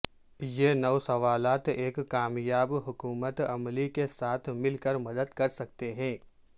یہ نو سوالات ایک کامیاب حکمت عملی کے ساتھ مل کر مدد کر سکتے ہیں